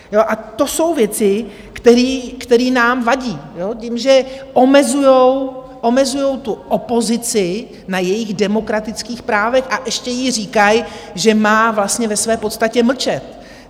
A to jsou věci, které nám vadí tím, že omezujou tu opozici na jejích demokratických právech, a ještě jí říkají, že má vlastně ve své podstatě mlčet.